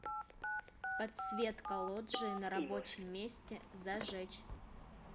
подсветка лоджии на рабочем месте зажечь